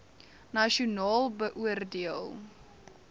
nasionaal beoor deel